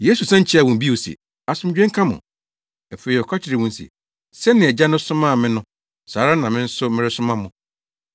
Yesu san kyiaa wɔn bio se, “Asomdwoe nka mo!” Afei ɔka kyerɛɛ wɔn se, “Sɛnea Agya no somaa me no, saa ara na me nso meresoma mo.”